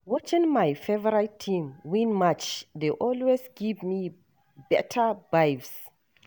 Watching my favorite team win match dey always give me beta vibes.